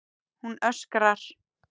Hún öskrar.